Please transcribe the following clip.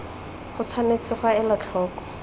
go tshwanetse ga elwa tlhoko